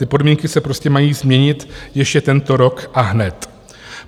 Ty podmínky se prostě mají změnit ještě tento rok a hned.